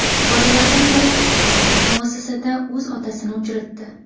Bolalardan biri muassasada o‘z otasini uchratdi.